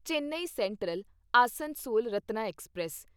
Chennai central Asansol Ratna express